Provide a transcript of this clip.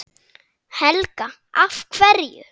Helga: Af hverju?